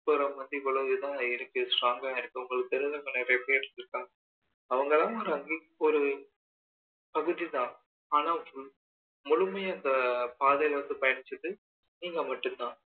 பத்தி இவ்வளோ தான் இருக்கு strong கா இருக்கு உங்களுக்கு தெரிந்தவங்க நிறைய பேரு இருக்காங்க அவங்களாம் ஒரு பகுதிதான் ஆனால் முழுமையா பாதுகாத்து படிச்சது நீங்க மட்டும் தான்